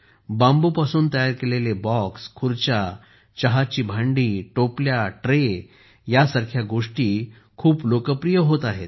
बांबूपासून तयार केलेले बॉक्स खुर्च्या चहाची भांडी टोपल्या ट्रे यांसारख्या गोष्टी खूप लोकप्रिय होत आहेत